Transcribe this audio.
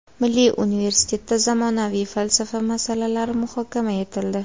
Milliy universitetda zamonaviy falsafa masalalari muhokama etildi.